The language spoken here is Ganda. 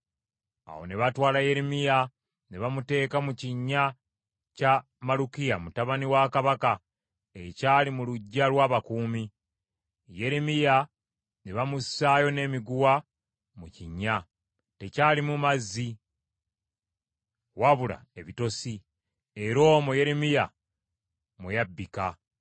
Awo ne batwala Yeremiya ne bamuteeka mu kinnya kya Malukiya mutabani wa kabaka ekyali mu luggya lw’abakuumi. Yeremiya ne baamussaayo n’emiguwa mu kinnya. Tekyalimu mazzi wabula ebitosi, era omwo Yeremiya mwe yabbika.